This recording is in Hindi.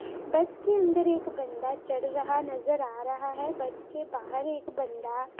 बस के अंदर एक बंदा चढ़ रहा नजर आ रहा है। बस के बाहर एक बंदा --